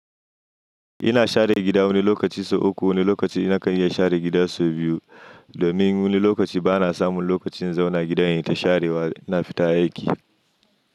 Ina share gida wani lokaci sau uku, wani lokaci nakan iya share gida sau biyu domin wani lokaci bana samun lokacin zauna gidan yin ta sharewa, na fita aiki.